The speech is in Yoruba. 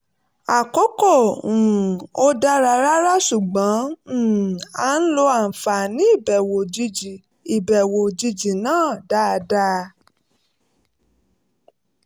àkókò um ò dára rárá ṣùgbọ́n um a lo àǹfààní ìbẹ̀wò òjijì ìbẹ̀wò òjijì náà dáadáa